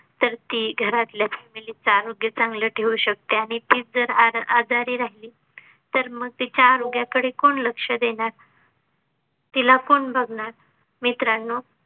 तर ती घरातल्या Family आरोग्य चांगले ठेवू शकते आणि ती तीच जर आ आजारी राहीली तर मग तिच्या आरोग्याकडे कोण लक्ष देणार तिला कोण बघनार मित्रांनो.